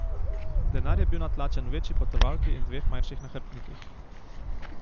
Denar je bil natlačen v večji potovalki in dveh manjših nahrbtnikih.